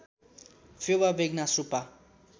Phewa Begnas Rupa